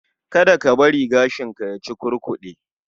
Kada ka bari gashinka ya cukurkude